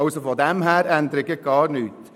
Daher ändert sich gar nichts.